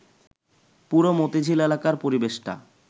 পুরো মতিঝিল এলাকার পরিবেশটা